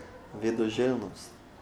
Vedoželjnost.